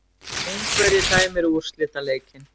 Ungverji dæmir úrslitaleikinn